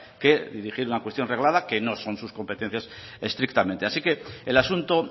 que dirigir una cuestión reglada que no son sus competencias estrictamente así que el asunto